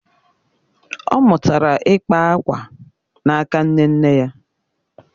ọ mụtara ịkpa akwa n’aka nne nne ya.